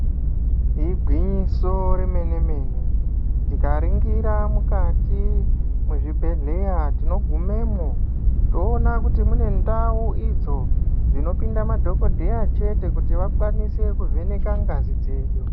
Igwinyiso remene mene tikaringira mukati mwezvibhedhlera tinogumemwo toona kuti mune ndau idzo dzinopinda madhokodheya chete kuti vakwanise kuvheneka ngazi dzedu.